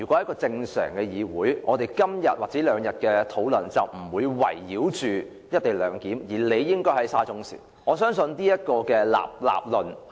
在正常的議會狀況下，我們這兩天的討論不會圍繞"一地兩檢"，而理應討論"沙中線涉嫌造假"事件。